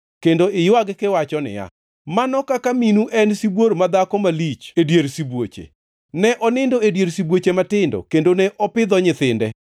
kendo iywag kiwacho niya, “ ‘Mano kaka minu ne en sibuor madhako malich e dier sibuoche! Ne onindo e dier sibuoche matindo kendo ne opidho nyithinde.